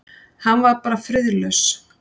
Hann var bara friðlaus.